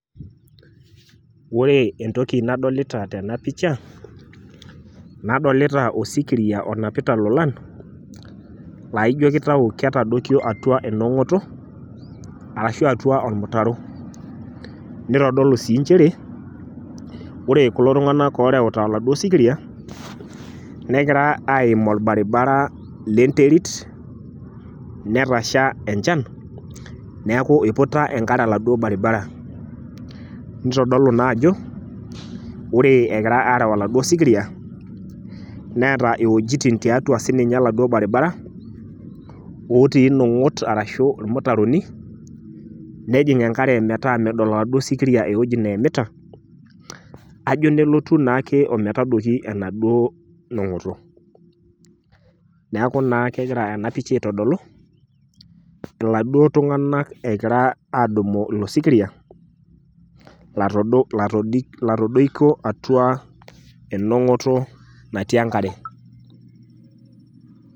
Ore entoki nadolita tena pisha nadolita osikiria onapita ilolan laijo kitayu ketadoikio atua enong`oto arashu atua olmutaro. Nitodolu sii nchere ore kulo tung`anak oo rewuta oladuo sikiria negira aim olbaribara le nterit netasha enchan niaku eiputa enkare oladuo baribara. Nitodolu ina ajo ore egirai aareu oladuo sikiria neeta iwuejitin tiatua sii ninye oladuo baribara otii nong`ot arashu ilmutaroni, nejing enkare metaa medol oladuo sikiria ewueji neimita. Kajo nelotu naake o metadoiki enaduo nong`oto. Niaku naa kegira ena pisha aitodolu iladuo tung`anak egira aadumu ilo sikiria latodo latodoikio atua enong`oto natii enkare.